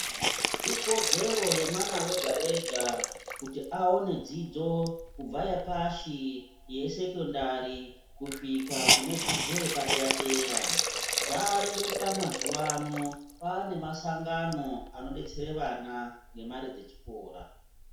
Ikodzero yemwana ega-ega kuti avane dzidzo kubva yepashi yesekondari kusvika kunedzidzo yepadera-dera. Zvareruka mazuva ano kwane masangano anobetsere vana ngemare dzechikora.